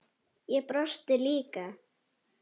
Ég brosti líka.